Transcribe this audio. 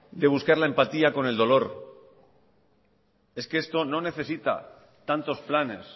de buscarle empatía con el dolor es que esto no necesita tantos planes